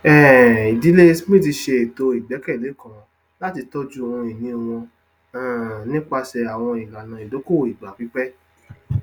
um ìdílé smith ṣe ìṣètò igbẹkẹlé kan láti tọjú ohunìnì wọn um nípasẹ àwọn ìlànà ìdókòwò ìgbà pípẹ